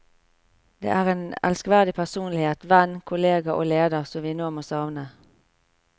Det er en elskverdig personlighet, venn, kollega og leder som vi nå må savne.